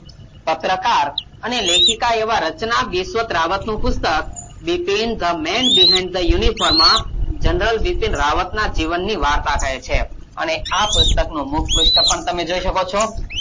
પત્રકાર અને લેખિકાં એવાં રચના બિસ્વતરાંવત નું પુસ્તક Bipin the men behind the uniform general Bipin રાંવતનાં જીવનની વાર્તા કહે છે અને આ પુસ્તકનું મુખપ્રુષ્ઠ પણ તમે જોઈ શકો છો.